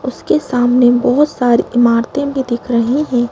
उसके सामने बहुत सारी इमारतें भी दिख रही हैं।